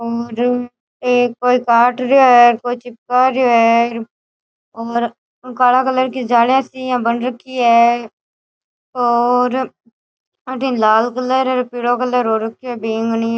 और ये कोई काट रेया है और कोई चिपका रे है और काला कलर की जालियां सी बन रखी है और अठीने लाल कलर और पीला कलर हो रखयो है बैगनी --